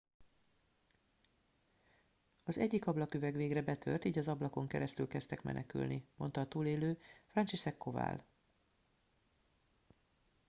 az egyik ablaküveg végre betört így az ablakon keresztül kezdtek menekülni mondta a túlélő franciszek kowal